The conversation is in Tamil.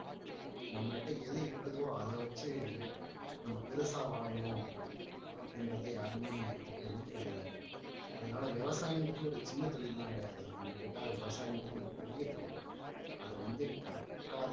நம்மள்ட்ட எது இருக்குதோ அதை வச்சு நம்ம பெருசா வாழணும் அப்படின்றதை யாருமே நினைக்கிறது இல்லை அதனாலே விவசாயம்ன்றது ஒரு சின்ன தொழில் எல்லாம் கிடையாது என்னை கேட்டா விவசாயம்ன்றது ஒரு பெரிய தொழில் அதை வந்து correct ஆ